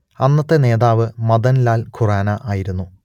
അന്നത്തെ നേതാവ് മദൻ ലാൻ ഖുറാന ആയിരുന്നു